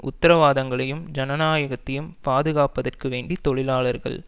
உத்தரவாதங்களையும் ஜனநாயகத்தையும் பாதுகாப்பதற்கு வேண்டி தொழிலாளர்கள்